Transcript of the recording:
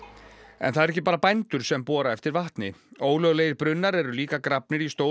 en það eru ekki bara bændur sem bora eftir vatni ólöglegir brunnar eru líka grafnir í stórum